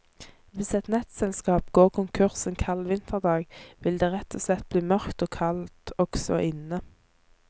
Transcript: Hvis et nettselskap går konkurs en kald vinterdag, vil det rett og slett bli mørkt og kaldt også inne.